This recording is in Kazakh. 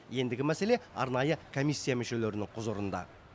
ендігі мәселе арнайы комиссия мүшелерінің құзырында